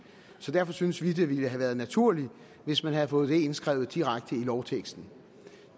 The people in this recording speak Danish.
derfor synes vi det ville have været naturligt hvis man havde fået indskrevet det direkte i lovteksten